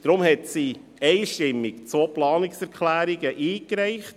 Deshalb hat sie einstimmig zwei Planungserklärungen eingereicht: